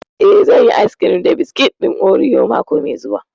Eh, zan yi ayis kirim da biskit ɗin oriyo mako mai zuwa